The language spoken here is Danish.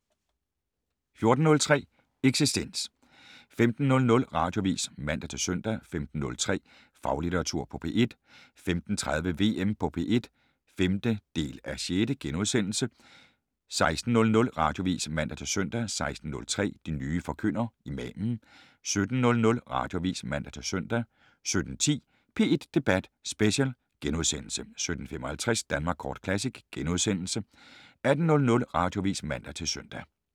14:03: Eksistens 15:00: Radioavis (man-søn) 15:03: Faglitteratur på P1 15:30: VM på P1 (5:6)* 16:00: Radioavis (man-søn) 16:03: De nye forkyndere - Imamen 17:00: Radioavis (man-søn) 17:10: P1 Debat Special * 17:55: Danmark Kort Classic * 18:00: Radioavis (man-søn)